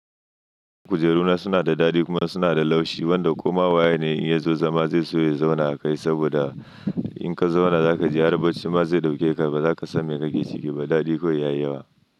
Kujeru na suna da dadi kuma suna da laushi wanda komawa yene in ya zo zama zai so ya zauna a kai saboda in ka zauna zaka ji har bacci ma zai dauke ka ba zaka san me kake ciki ba dadi kawai ya yi yawa.